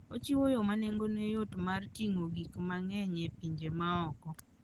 Ochiwo yo ma nengone yot mar ting'o gik mang'eny e pinje ma oko.